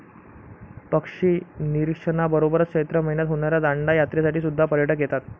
पक्षी निरिक्षणबरोबरच चैत्र माहिन्यात होणाऱ्या दांडा यात्रेसाठी सुद्धा पर्यटक येतात.